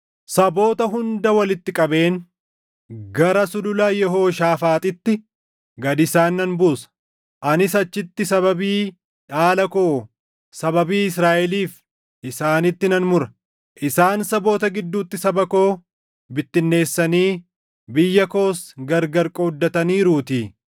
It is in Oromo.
saboota hunda walitti qabeen gara Sulula Yehooshaafaaxitti // gad isaan nan buusa. Anis achitti sababii dhaala koo, sababii Israaʼeliif isaanitti nan mura; isaan saboota gidduutti saba koo bittinneessanii biyya koos gargar qooddataniiruutii.